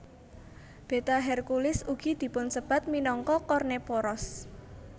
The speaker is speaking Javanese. Beta Herculis ugi dipunsebat minangka Kornephoros